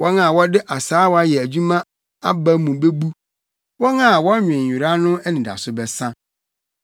Wɔn a wɔde asaawa yɛ adwuma aba mu bebu, wɔn a wɔnwen nwera no anidaso bɛsa.